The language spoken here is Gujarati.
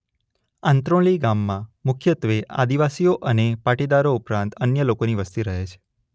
આંત્રોલી ગામમાં મુખ્યત્વે આદિવાસીઓ અને પાટીદારો ઉપરાંત અન્ય લોકોની વસ્તી રહે છે.